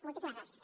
moltíssimes gràcies